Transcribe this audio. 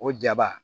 O jaba